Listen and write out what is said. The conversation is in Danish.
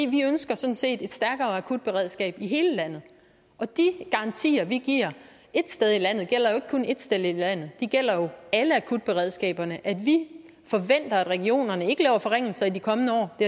vi ønsker sådan set et stærkere akutberedskab i hele landet og de garantier vi giver ét sted i landet gælder jo ikke kun ét sted i landet det gælder jo alle akutberedskaberne at vi forventer at regionerne ikke laver forringelser i de kommende år det